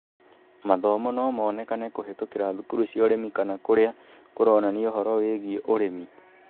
Mathomo no monekane kũhĩtũkĩra thukuru cia ũrĩmi kana kũrĩa kũronanio ũhoro wĩgia ũrĩmi